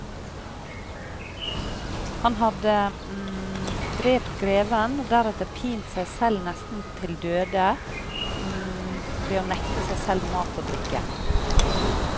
Han hadde drept greven og deretter pint seg selv nesten til døde ved å nekte seg selv mat og drikke.